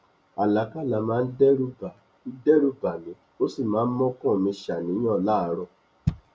àlákálà máa n dẹrù bà n dẹrù bà mí ós ì máa n mọkàn mi ṣaníyàn láàrọ